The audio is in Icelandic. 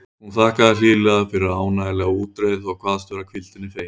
Hún þakkaði hlýlega fyrir ánægjulega útreið og kvaðst vera hvíldinni fegin.